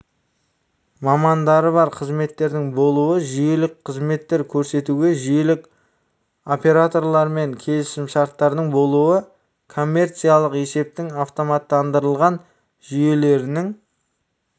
мамандары бар қызметтердің болуы жүйелік қызметтер көрсетуге жүйелік операторлармен келісімшарттардың болуы коммерциялық есептің автоматтандырылған жүйелерінің